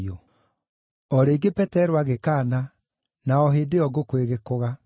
O rĩngĩ Petero agĩkaana, na o hĩndĩ ĩyo ngũkũ ĩgĩkũga.